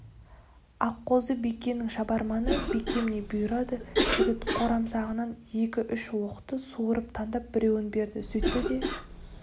аққозы бикенің шабарманы бикем не бұйырады жігіт қорамсағынан екі-үш оқты суырып таңдап біреуін берді сөйтті де